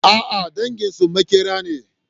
A'a, danginsu maƙera ne.